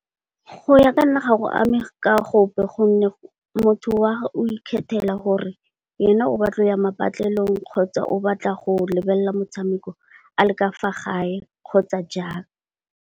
Go ya ka nna gago ame ka gope gonne, motho wa ikgethela gore ena o batla go ya patlelong kgotsa, o batla go lebelela motshameko a le ka fa gae kgotsa jang.